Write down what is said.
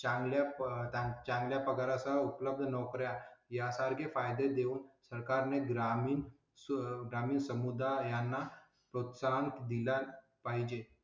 चांगल्या पाहता चांगल्या पगारा उपलब्ध नोकरा यासारखे फायदे देऊन सरकारने ग्रामीण सुद्धा मी समुदायांना प्रोत्साहित दिला पाहिजे.